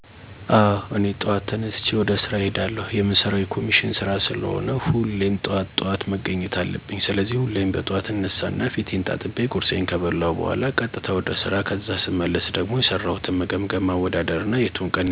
አወ እኔ ጠዋት ተነስቸ ወደ ስራ እሄዳለሁ። የምሰራው የኮሚሽን ስራ ስለሆነ ሁሌም ጠዋት ጠዋት መገኘት አለብኝ። ስለዚህ ሁሌም በጥዋት እነሳና ፊቴን ታጥቤ፣ ቁርሴን ከበላሁ በኋላ ቀጥታ ወደ ስራ ከዛ ስመለስ ደሞ የሰራሁትን መገምገም፣ ማወዳደር እና የቱ ቀን የተሻለ ሰራሁ መቸስ የወረደ ስራ ሰራሁ እያልሁ ከራሴ ጋር እመክራለሁ። በነገራችን ላይ በጥዋት መነሳቴ ብዙ ጥቅም ያስገኘኛል። ለምሳሌ፣ ንቁና ታታሪ ሰራተኛ እንድሆን እረድቶኛል።